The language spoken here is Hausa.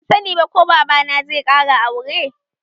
Ban sani ba ko baba na zai ƙara aure